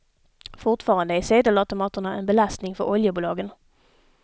Fortfarande är sedelautomaterna en belastning för oljebolagen.